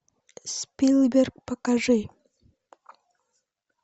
спилберг покажи